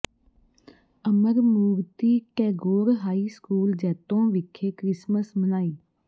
ਅਮਰ Murti Tagore high school ਜੈਤੋਂ ਵਿਖੇ Christmas ਮਨਾਈ